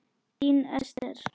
Þín Esther.